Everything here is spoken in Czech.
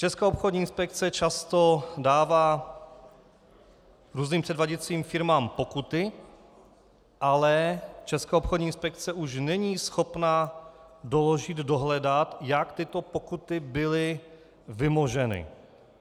Česká obchodní inspekce často dává různým předváděcím firmám pokuty, ale Česká obchodní inspekce už není schopná doložit, dohledat, jak tyto pokuty byly vymoženy.